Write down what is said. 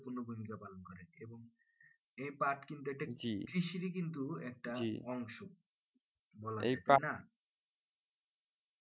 এই পাট কিন্তু একটি কৃষির কিন্তু একটা অংশ